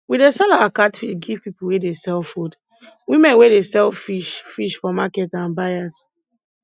we dey sell our catfish give people wey dey sell food women wey dey sell fish fish for market and buyers